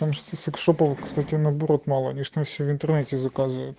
город молодечно все в интернете